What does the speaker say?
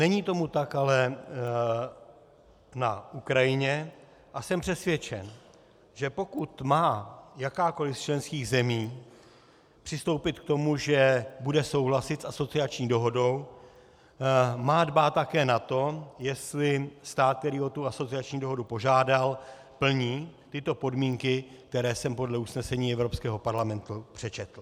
Není tomu tak ale na Ukrajině a jsem přesvědčen, že pokud má jakákoliv z členských zemí přistoupit k tomu, že bude souhlasit s asociační dohodou, má dbát také na to, jestli stát, který o tu asociační dohodu požádal, plní tyto podmínky, které jsem podle usnesení Evropského parlamentu přečetl.